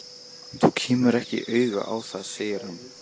Þú kemur ekki auga á það segir hann.